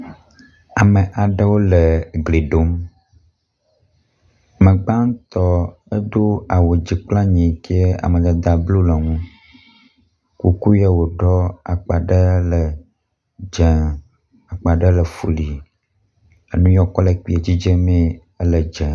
Ame aɖewo le gli ɖom. Me gbatɔ edo awu dzi kple anyi yi ke amadada blu le eŋu. Kuku ya woɖɔ akpa ɖe le dze akpa ɖe le flu. Nu ye wokɔ le kpi dzidze mee ele dze.